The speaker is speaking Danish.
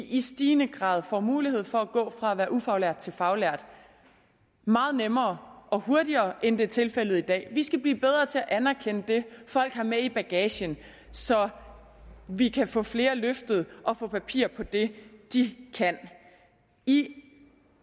i stigende grad får mulighed for at gå fra at være ufaglært til faglært meget nemmere og hurtigere end det er tilfældet i dag vi skal blive bedre til at anerkende det folk har med i bagagen så vi kan få flere løftet og få papir på det de kan i